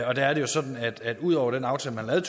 og der er det jo sådan at ud over den aftale man lavede